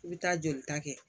I bɛ taa jolita kɛ